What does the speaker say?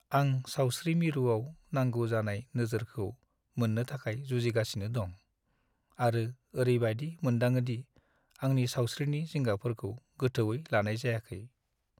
आं सावस्रि मिरुआव नांगौ जानाय नोजोरखौ मोननो थाखाय जुजिगासिनो दं, आरो ओरैबायदि मोनदाङो दि आंनि सावस्रिनि जिंगाफोरखौ गोथौवै लानाय जायाखै।